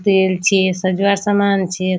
तेल छे सजवार सामान छे।